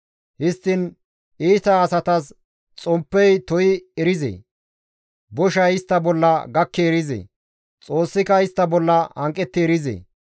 «Histtiin iita asatas xomppey to7i erizee? Boshay istta bolla gakki erizee? Xoossika istta bolla hanqetti erizee?